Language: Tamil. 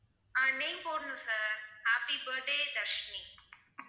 ஆஹ் name போடணும் sir, happy birthday தர்ஷினி